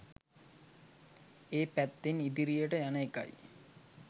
ඒ පැත්තෙන් ඉදිරියට යන එකයි.